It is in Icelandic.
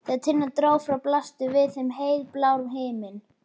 Þegar Tinna dró frá blasti við þeim heiðblár himinn.